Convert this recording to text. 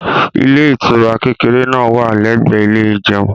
ilé ìtura kékeré náà wà l'ẹgbẹ ilé ìjeun